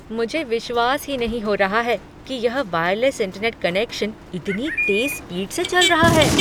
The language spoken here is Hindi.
मुझे विश्वास ही नहीं हो रहा है कि यह वायरलेस इंटरनेट कनेक्शन इतनी तेज स्पीड से चल रहा है।